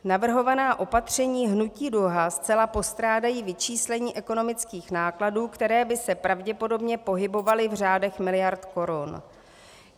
Navrhovaná opatření Hnutí Duha zcela postrádají vyčíslení ekonomických nákladů, které by se pravděpodobně pohybovaly v řádech miliard korun.